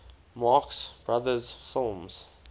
marx brothers films